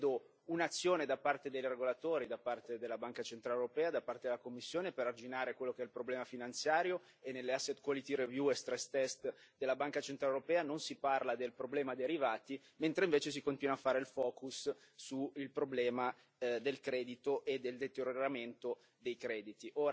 Non vedo un'azione da parte dei regolatori, da parte della Banca centrale europea, da parte della Commissione, per arginare quello che è il problema finanziario, e nelle e della Banca centrale europea non si parla del problema derivati, mentre invece si continua a fare il focus sul problema del credito e del deterioramento dei crediti.